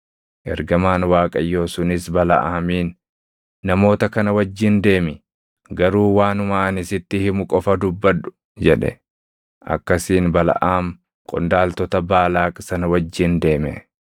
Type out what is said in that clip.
Ergamaan Waaqayyoo sunis Balaʼaamiin, “Namoota kana wajjin deemi; garuu waanuma ani sitti himu qofa dubbadhu” jedhe. Akkasiin Balaʼaam qondaaltota Baalaaq sana wajjin deeme.